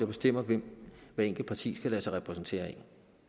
bestemmer hvem hvert enkelt parti skal lade sig repræsentere af